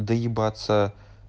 доебаться